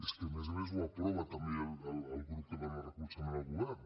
és que a més a més ho aprova també el grup que dona recolzament al govern